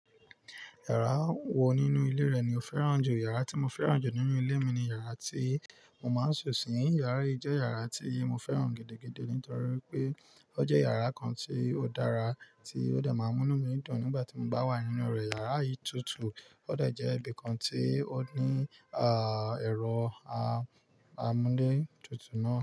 Yàrá wo nínú ilé rẹ̀ ni o fẹ́ràn jù? Yàrá tí mo fẹ́ràn jù nínú ilé mi ni yàrá tí mo máa ń sùn sí. Yàrá yìí jẹ́ yàrá tí mo fẹ́ràn gidigidi nítorí wípé ó jẹ́ yàrá kan tí ó dára, tí ó de máa ń mú inu mi dún nígbà tí mo bá wà nínú rẹ̀. Yàrá yìí tutù, ó de jẹ́ ibi kan tí ó ní, à, ẹ̀rọ amúlé tutù náà.